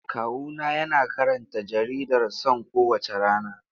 Kawuna yana karanta jaridar Son kowace rana.